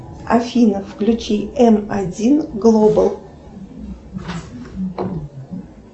афина включи эм один глобал